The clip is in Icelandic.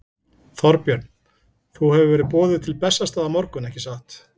Þorbjörn: Þú hefur verið boðuð til Bessastaða á morgun, ekki satt?